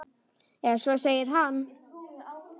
Eða svo segir hann.